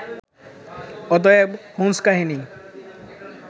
অতএব হোম্স্-কাহিনী